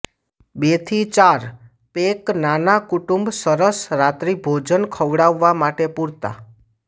બે થી ચાર પેક નાના કુટુંબ સરસ રાત્રિભોજન ખવડાવવા માટે પૂરતા